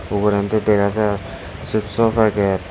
ugurendi dega jar chips so packet.